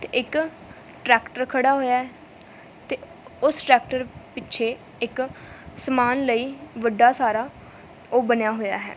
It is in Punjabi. ਤੇ ਇੱਕ ਟ੍ਰੈਕਟਰ ਖੜਾ ਹੋਇਆ ਹੈ ਤੇ ਉਸ ਟ੍ਰੈਕਟਰ ਪਿੱਛੇ ਇੱਕ ਸਮਾਨ ਲਈ ਵੱਡਾ ਸਾਰਾ ਉਹ ਬਨਿਆ ਹੋਇਆ ਹੈ।